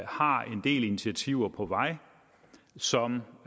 har en del initiativer på vej som